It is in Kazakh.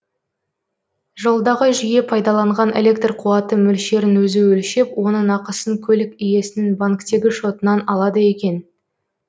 жолдағы жүйе пайдаланған электр қуаты мөлшерін өзі өлшеп оның ақысын көлік иесінің банктегі шотынан алады екен